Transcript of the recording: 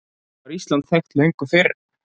Var Ísland þekkt löngu fyrr?